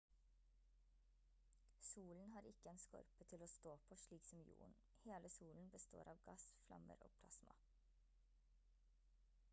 solen har ikke en skorpe til å stå på slik som jorden hele solen består av gass flammer og plasma